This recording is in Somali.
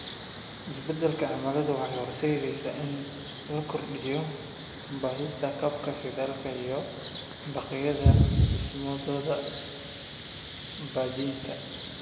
Isbeddelka cimiladu waxay horseedaysaa in la kordhiyo baadhista kabka shidaalka iyo baaqyada dhimistooda ama baabi'inta.